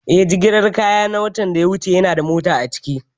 Eh, jigilar kayan na watan da ya wuce yanada mota a ciki